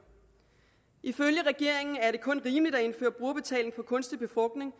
ifølge regeringen er det kun rimeligt at indføre brugerbetaling for kunstig befrugtning